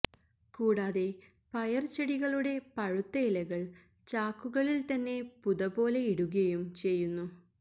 കൂടാതെ പയർ ചെടികളുടെ പഴുത്ത ഇലകൾ ചാക്കുകളിൽ തന്നെ പുതപോലെ ഇടുകയും ചെയ്യുന്നു